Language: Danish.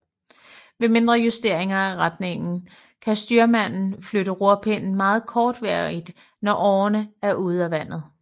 Ved mindre justeringer af retningen kan styrmanden flytte rorpinden meget kortvarigt når årerne er ude af vandet